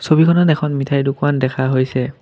ছবিখনত এখন মিঠাইৰ দোকান দেখা হৈছে।